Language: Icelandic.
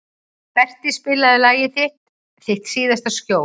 Berti, spilaðu lagið „Þitt síðasta skjól“.